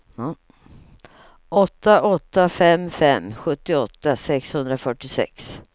åtta åtta fem fem sjuttioåtta sexhundrafyrtiosex